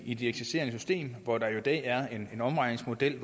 i det eksisterende system hvor der i dag er en omregningsmodel